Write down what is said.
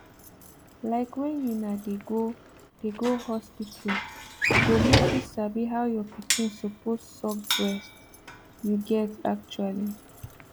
like when una dey go dey go hospital go make you sabi how your pikin suppose suck breast you get actually